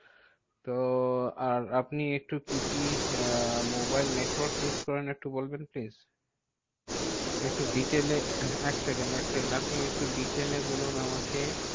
তো আর আপনি একটু কি কি আহ মোবাইল network use করেন একটু বলবেন please? আমি ভোডাফোন একটু detail use করি। এক সেকেন্ড এক সেকেন্ড আপনি একটু detail এ বলুন আমাকে।